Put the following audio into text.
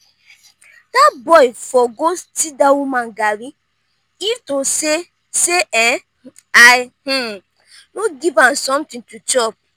dat boy for go steal dat woman garri if to say say um i um no give am something to chop